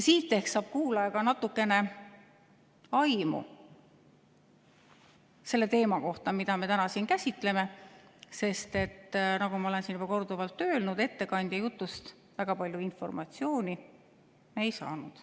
Siis ehk saab kuulaja ka natukene aimu selle teema kohta, mida me täna siin käsitleme, sest nagu ma olen siin juba korduvalt öelnud, ettekandja jutust me väga palju informatsiooni ei saanud.